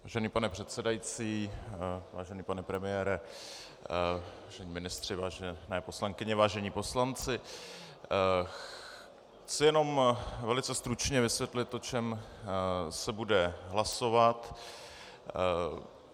Vážený pane předsedající, vážený pane premiére, vážení ministři, vážené poslankyně, vážení poslanci, chci jenom velice stručně vysvětlit, o čem se bude hlasovat.